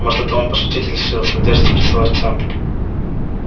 может это он пошутить решил с надеждой спросил артем